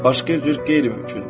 Başqa cür qeyri-mümkündür.